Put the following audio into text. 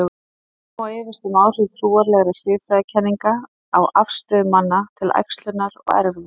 Einnig má efast um áhrif trúarlegra siðfræðikenninga á afstöðu manna til æxlunar og erfða.